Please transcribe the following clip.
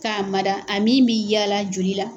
k'a mada a min bɛ yaala joli la.